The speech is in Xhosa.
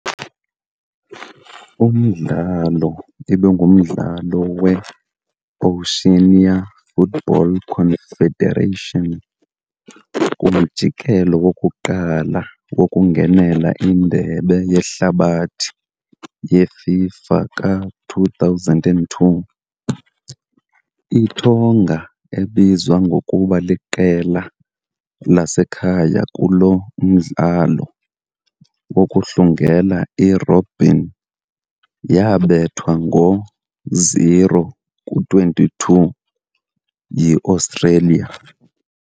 Umdlalo ibingumdlalo weOceania Football Confederation kumjikelo wokuqala wokungenela iNdebe yeHlabathi yeFIFA ka-2002 . ITonga, ebizwa ngokuba liqela lasekhaya kulo mdlalo wokuhlungela i-robin, yabethwa ngo'0-22 yi-Australia.